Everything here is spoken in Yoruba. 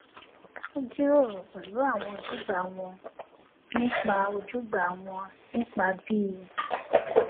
wón jíròrò pèlú àwọn ojúgbà wọn nípa ojúgbà wọn nípa bí